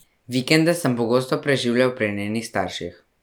Vikende sem pogosto preživljal pri njenih starših.